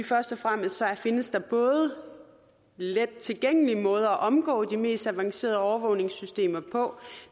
først og fremmest findes let tilgængelige måder at omgå de mest avancerede overvågningssystemer på